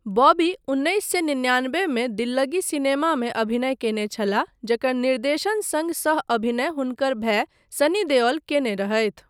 बॉबी उन्नैस सए निन्यानबेमे दिल्ल्गी सिनेमामे अभिनय कयने छलाह जकर निर्देशन सङ्ग सह अभिनय हुनकर भाय सनी देओल कयने रहथि।